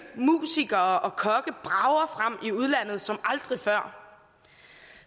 musikere og kokke brager frem i udlandet som aldrig før